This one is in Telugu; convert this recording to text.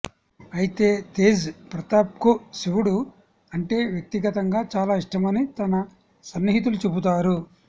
అయితే తేజ్ ప్రతాప్కు శివుడు అంటే వ్యక్తిగతంగా చాలా ఇష్టమని తన సన్నిహితులు చెబుతారు